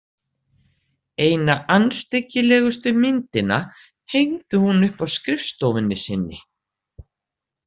Eina andstyggilegustu myndina hengdi hún upp á skrifstofunni sinni.